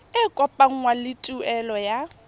e kopanngwang le tuelo ya